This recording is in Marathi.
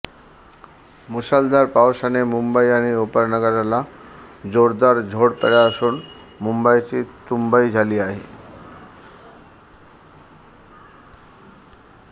मुसळधार पावसाने मुंबई आणि उपनगराला जोरदार झोडपले असून मुंबईची तुंबई झाली आहे